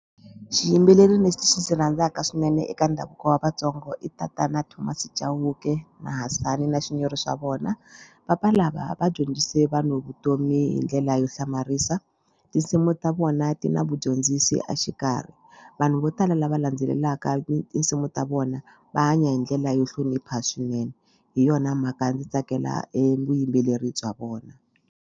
Xiyimbeleri lexi ndzi xi rhandzaka swinene eka ndhavuko wa Vatsongo i tatana Thomas Chauke na Hasani na Shinyori xa vona. Papa lava va dyondzise vanhu vutomi hi ndlela yo hlamarisa tinsimu ta vona ti na vudyondzisi a xikarhi vanhu vo tala lava landzelelaka tinsimu ta vona va hanya hi ndlela yo hlonipha swinene hi yona mhaka ndzi tsakela vuyimbeleri bya vona.